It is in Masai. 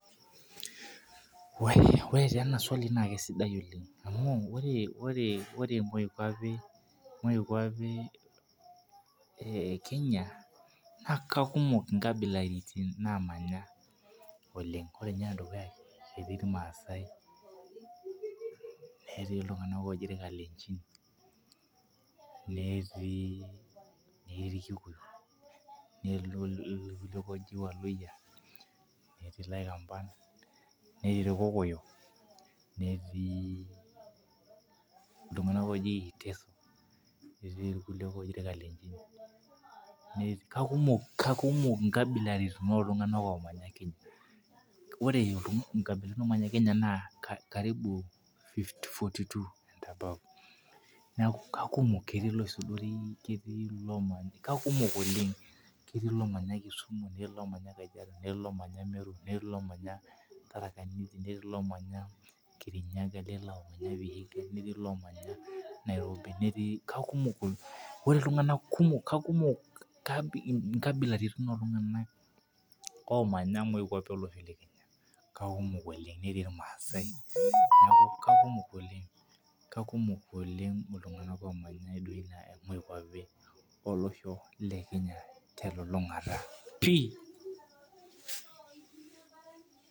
Ore tenaswali na kesidai oleng amu ore moikwapi ekenya na kekumok nkabilaitin namanya ore nye enedukuya etii irmaasai netii ltunganak oji irkalenjin netii ikikuyu netii irwaluya etii laikamba netii irkokoyo netii ltunganak oji irkalenjin kekumok nkabilaitin oltunganak omanya kenya karibu forty two and above neaku kakumok etii lomanya kisumu netii lomanya tharakanithi netii lomanya vihiga netuu lomanya nairobi netii kakumok nkabilaitin oltunganak amanya moikwapi ekwnya netii irmaasai oleng kekumok oleng telulungata pii.